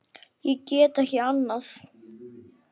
Ég get ekki annað.